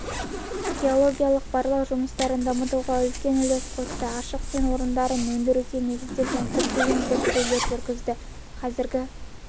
геологиялық-барлау жұмыстарын дамытуға үлкен үлес қосты ашық кен орындарын өндіруге негізделген көптеген зерттеулер жүргізді қазіргі